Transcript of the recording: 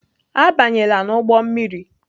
Abanyela n'ụgbọ mmiri!